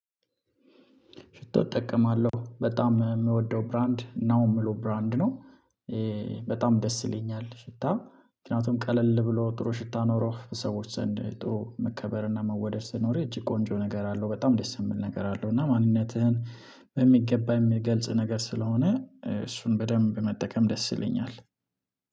ሽቶ እጠቀማለሁ በጣም የምወደው ብራንድ ነው የምለው ብራንድ ነው በጣም ደስ ይለኛል ሽታ ምክንያቱም ቀለል ብሎ ጥሩ ሽታ ኖሮህ በሰዎች ዘንድ ጥሩ መከበርና መወደድ ሲኖር እጅግ ቆንጆ ነገር አለው፣ በጣም ደስ የምል ነገር አለው፣ እና ማንነትህን በሚገባ የሚገልጽ ነገር ስለሆነ እሱን በደንብ መጠቀም ደስ ይለኛል።